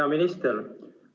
Hea minister!